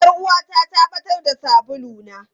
Yar uwata ta ɓatar da sabuluna.